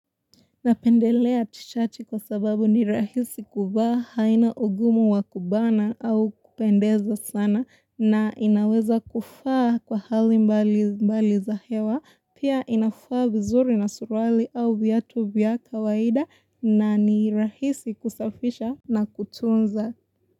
Napendelea tishati kwa sababu ni rahisi kuvaa, haina ugumu wa kubana au kupendeza sana na inaweza kufaa kwa hali mbali za hewa, pia inafaa vizuri na suruali au viatu vya kawaida. Na ni rahisi kusafisha na kutunza.